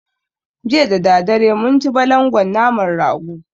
Jiya dadadare mun ci balangon naman rago